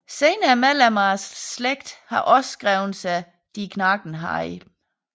Senere medlemmer af slægten har også skrevet sig de Knagenhielm